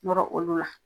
Nɔrɔ olu la